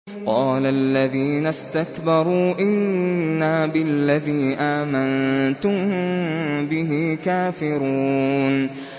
قَالَ الَّذِينَ اسْتَكْبَرُوا إِنَّا بِالَّذِي آمَنتُم بِهِ كَافِرُونَ